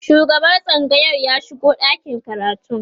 shugaban tsangayar ya shigo ɗakin karatun